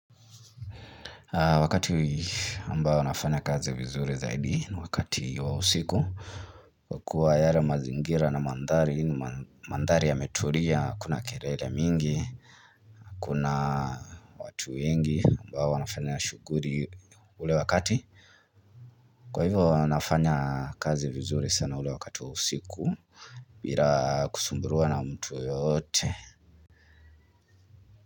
Wakati ambao nafanya kazi vizuri zaidi ni wakati wa usiku kuwa yale mazingira na mandhari yametulia hakuna kelele mingi kuna watu wengi ambao wanafanya shuguli ule wakati, kwa hivyo nafanya kazi vizuri sana ule wakati wa usiku bila kusumbuliwa na mtu yeyote.